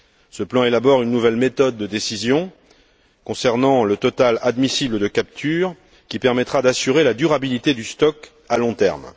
Ce plan élabore une nouvelle méthode de décision concernant le total admissible de capture qui permettra d'assurer la durabilité du stock à long terme.